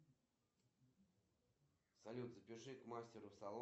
джой расскажи сколько оборотов за год делает земля